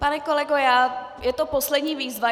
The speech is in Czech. Pane kolego, je to poslední výzva.